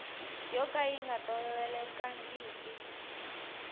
yo ka yi nga tolovelekangiki